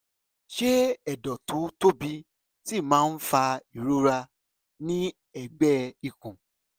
ṣé ẹ̀dọ̀ tó tóbi síi máa ń fa ìrora ní ẹ̀gbẹ́ ikùn?